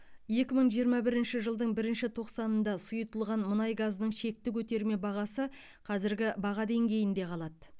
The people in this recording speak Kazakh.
екі мың жиырма бірінші жылдың бірінші тоқсанында сұйытылған мұнай газының шекті көтерме бағасы қазіргі баға деңгейінде қалады